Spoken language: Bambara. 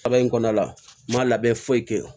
Kaba in kɔnɔna la n ma labɛn foyi kɛ wo